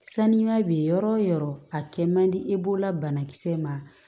Sanuya be yɔrɔ o yɔrɔ a kɛ man di e bolola banakisɛ ma